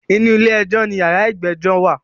Inú ilé ẹjọ́ ní yàrá ìgbẹ́jọ́ wà.